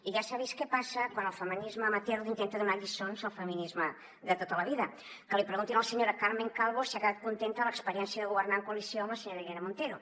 i ja s’ha vist què passa quan el feminisme amateur intenta donar lliçons al feminisme de tota la vida que li preguntin a la senyora carmen calvo si ha quedat contenta de l’experiència de governar en coalició amb la senyora irene montero